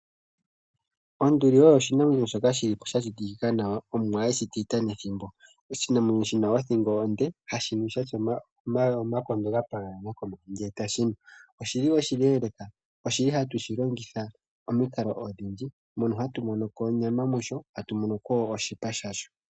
Onduli oyo oshinamwenyo shoka shi li po sha shitikika nawa, Omuwa e shi shita nethimbo. Oshinamwenyo shi na othingo onde, hashi nu shi na omagulu gokomeho gapaganyana. Oshinamwenyo oshileeleka. Ohatu shi longitha pamikalo odhindji, hono hatu mono ko onyama noshowo oshipa shasho.